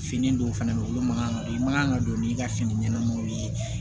Fini dɔw fɛnɛ be yen olu man kan ka don i man kan ka don n'i ka fini ɲɛnamanw ye